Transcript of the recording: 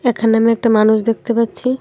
এখানে আমি একটা মানুষ দেখতে পাচ্ছি।